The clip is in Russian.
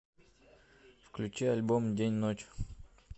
включи альбом день ночь